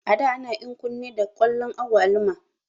A da ana enkun ne da kwalon agwaluma